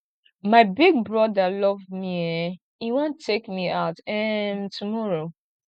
my big broda love me eh e wan take me out um tomorrow